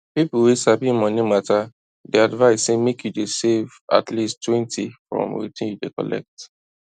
people wey sabi money matter dey advise say make you dey save at leasttwentyfrom wetin you dey collect